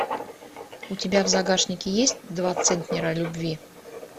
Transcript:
у тебя в загашнике есть два центнера любви